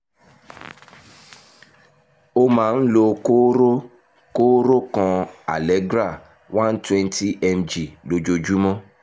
o máa ń lo kóró kóró kan allegra 120 mg lójoojúmọ́